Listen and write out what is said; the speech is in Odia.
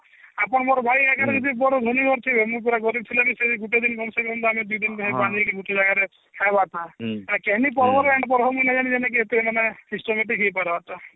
ଆପଣ ମୋର ଭାଇ ଆଗରେ ବଡ ଭଉଣୀ ଅଛି ମୁଁ ପୁରା ଗରିବ ଥିଲେ ବି ସେଇ ଗୁଟେ ଦିନ କମ ସେ କମ ବାହାରିକି ଗୁଟେ ଜାଗାରେ ଖାଇବା କଥା ହେଟା କେହ ନଇଁ ପାରିବ ଯେ ଏତେ ମାନେ systematic ହେଇପାରବା